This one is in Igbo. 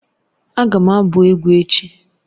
Agam abu egwu echi